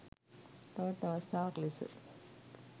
තවත් අවස්ථාවක් ලෙස